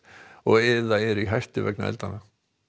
eða eru í hættu vegna eldanna